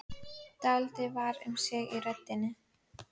Dálítið var um sig í röddinni.